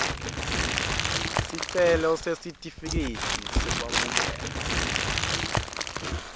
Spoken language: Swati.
sicelo sesitifiketi sekwamukelwa